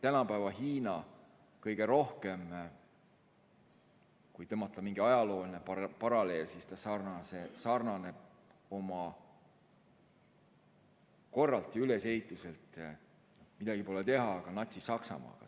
Tänapäeva Hiina sarnaneb kõige rohkem, kui tõmmata mingi ajalooline paralleel, oma korralt ja ülesehituselt, midagi pole teha, Natsi-Saksamaaga.